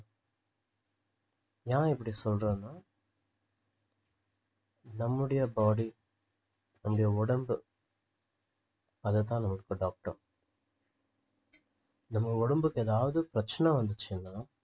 ஏன் இப்படி சொல்றேன்னா நம்முடைய body நம்முடைய உடம்பு அதைத்தான் நமக்கு இப்போ doctor நம்ம உடம்புக்கு எதாவது பிரச்சன வந்துச்சுன்னா